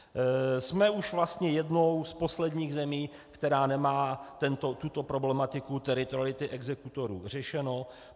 Jsme už vlastně jednou z posledních zemí, která nemá tuto problematiku teritoriality exekutorů řešenu.